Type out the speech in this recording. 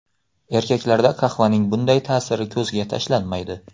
Erkaklarda qahvaning bunday ta’siri ko‘zga tashlanmaydi.